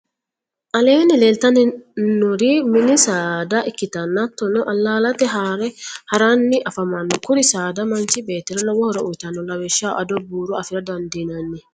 aleenni leelitannori mini saada ikkitanna haatonni alaalete haare haranni afamanno. kuri saada manchi beettira lowo horo uyitanno. lawishaho ado, buuro afira dandinanni.